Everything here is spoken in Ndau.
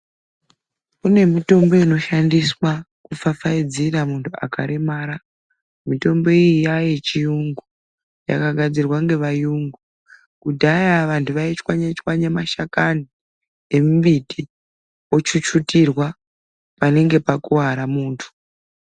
Kune mitombo inoshandiswa kupfapfaidzira muntu akaremara. Mitombo iyi yayechiyungu, yakagadzirwa ngevayungu. Kudhaya vantu vaichwanye chwanye mashakani embiti ochuchutirwa panenge pakuvara muntu.